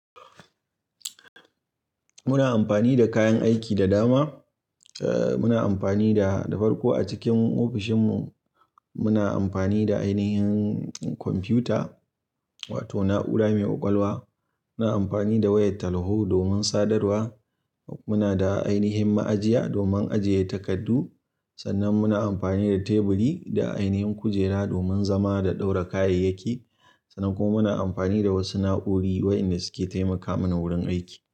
Muna amfani da kayan aiki da dama. Eh, muna amfani da, da farko a cikin ofishin mu muna amfani da ainihin kwamfuta wato na'ura mai ƙwaƙwalwa. Muna amfani da wayar talho domin sadarwa. Muna da ainihin ma'ajiya domin ajiye takardu. Sannan muna amfani da teburi da ainihin kujera domin zama da ɗaura kayayyaki. Sannan kuma muna amfani da wasu na'uri waɗanda suke taimaka mana wurin aiki.